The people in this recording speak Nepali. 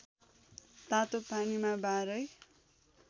तातो पानीमा बाह्रै